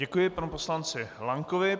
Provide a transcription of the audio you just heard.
Děkuji panu poslanci Lankovi.